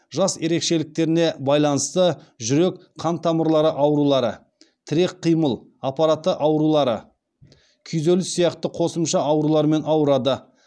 жас ерекшеліктеріне байланысты жүрек қан тамырлары аурулары тірек қимыл аппараты аурулары күйзеліс сияқты қосымша аурулармен ауырады